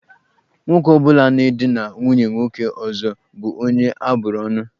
Nwoke ọ bụla na-edina nwunye nwoke ọzọ bụ onye abụrụ ọ́nụ̀.